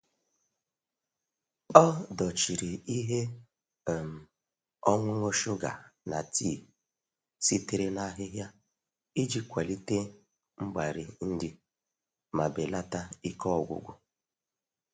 Ọ dochiri ihe um ọṅụṅụ shuga na tii sitere n’ahịhịa iji kwalite mgbari nri ma belata ike ọgwụgwụ.